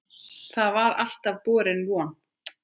Það var alltaf borin von